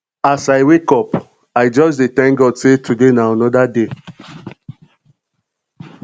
as i wake up i just dey thank god sey today na anoda day